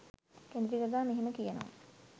කෙඳිරි ගගා මෙහෙම කියනවා.